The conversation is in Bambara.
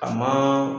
A ma